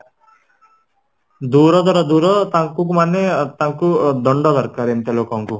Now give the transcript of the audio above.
ଦୂର ତ ଦୂର ତାଙ୍କୁ ମାନେ ଅ ତାଙ୍କୁ ଦଣ୍ଡ ଏମିତିଆ ଲୋକଙ୍କୁ